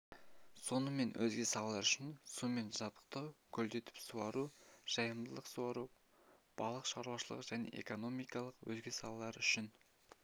сонымен өзге салалар үшін сумен жабдықтау көлдетіп суару жайылымдық суару балық шаруашылығы және экономиканың өзге салалары үшін